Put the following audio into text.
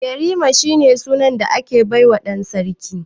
Yarima shine sunan da aka baiwa dan sarki.